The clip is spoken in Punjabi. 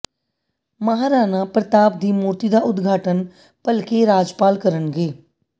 ਮਹਾਰਾਣਾ ਪ੍ਰਤਾਪ ਦੀ ਮੂਰਤੀ ਦਾ ਉਦਘਾਟਨ ਭਲਕੇ ਰਾਜਪਾਲ ਕਰਨਗੇ